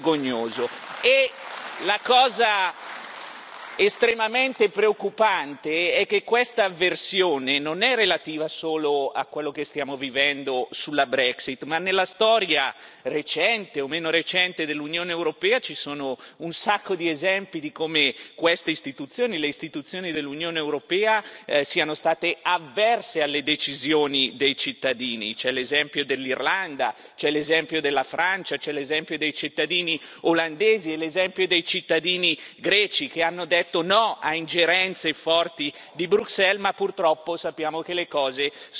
La cosa estremamente preoccupante è che questa avversione non è relativa solo a quello che stiamo vivendo sulla Brexit nella storia recente, o meno recente, dell'Unione europea ci sono un sacco di esempi di come queste istituzioni, le istituzioni dell'Unione europea, siano state avverse alle decisioni dei cittadini c'è l'esempio dell'Irlanda, c'è l'esempio della Francia, c'è l'esempio dei cittadini olandesi e l'esempio dei cittadini greci, che hanno detto no a ingerenze forti di Bruxelles ma, purtroppo, sappiamo che le cose sono andate in maniera diversa.